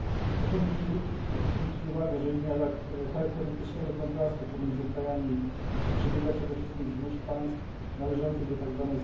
Proszę zwrócić uwagę, że linia tak charakterystycznego kontrastu pomiędzy krajami przebiega przede wszystkim wzdłuż państw należących do tzw.